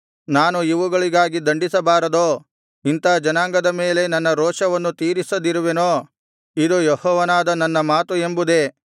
ನಾನು ಇವುಗಳಿಗಾಗಿ ದಂಡಿಸಬಾರದೋ ಇಂಥಾ ಜನಾಂಗದ ಮೇಲೆ ನನ್ನ ರೋಷವನ್ನು ತೀರಿಸದಿರುವೆನೋ ಇದು ಯೆಹೋವನಾದ ನನ್ನ ಮಾತು ಎಂಬುದೇ